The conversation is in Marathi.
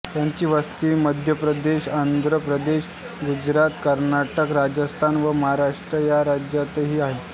त्यांची वस्ती मध्यप्रदेश आंध्र प्रदेश गुजरात कर्नाटक राजस्थान व महाराष्ट्र या राज्यांतही आहे